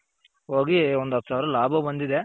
ಹೋಗಿ ಒಂದ್ ಹತ್ ಸಾವ್ರ ಲಾಭ ಬಂದಿದೆ.